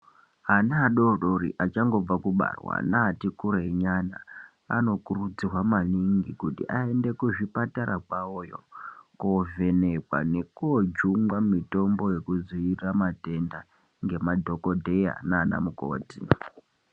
Ana adodori achangobve kubarwa neati kurwi nyana anokurudzirwa maningi kuti aende kuzvipatara kwawoyo kovhenekwa nekojungwa mutombo yokudzivirira matenda ngemadhokodheya nana mukoti.